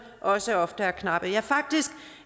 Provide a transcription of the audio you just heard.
også ofte er knappe ja faktisk